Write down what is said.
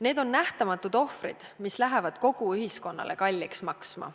Need on nähtamatud ohvrid, mis lähevad kogu ühiskonnale kalliks maksma.